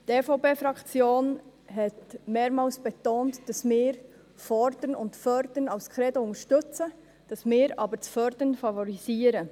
Die EVP-Fraktion hat mehrmals betont, dass wir «Fordern und Fördern» als Credo unterstützen, dass wir aber das «Fördern» favorisieren.